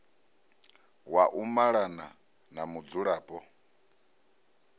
wa u malana na mudzulapo